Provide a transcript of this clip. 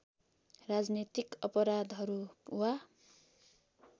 राजनैतिक अपराधहरू वा